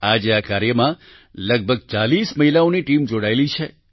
આજે આ કાર્યમાં લગભગ ચાલીસ મહિલાઓની ટીમ જોડાયેલી છે